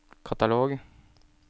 katalog